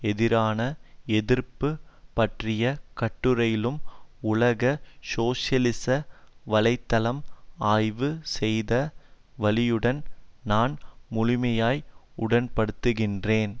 எதிரான எதிர்ப்பு பற்றிய கட்டுரையிலும் உலக சோசியலிச வலை தளம் ஆய்வு செய்த வழியுடன் நான் முழுமையாய் உடன்படுகின்றேன்